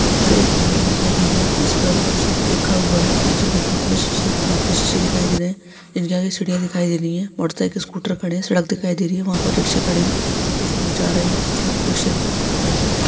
यहाँ पर एक बिल्डिंग दिखाई दे रही है जिसपर कुछ लिखा हुआ है नीचे देखने पर शीशे कांच के शीशे दिखाई दे रहे है इस के आगे सीढ़ियां दिखाई दे रही हैं मोटर साइकिल स्कूटर खड़े हैं सड़क दिखाई दे रही है वहाँ पर रिक्शे खड़े हुए हैं वहाँ कुछ लोग जा रहे हैं कुछ लोग रिक्शे पर बैठे हुए हैं।